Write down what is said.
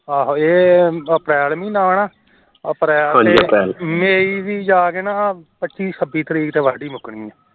ਆਹੋ ਇਹ april ਮਹੀਨਾ ਏ ਨਾ ਅਪ੍ਰੈਲ ਤੇ may ਵੀ ਜਾਕੇ ਪੱਚੀ ਛਬੀ ਤਰੀਕ ਤਕ ਵਾਢੀ ਮੁੱਕਣੀ ਏ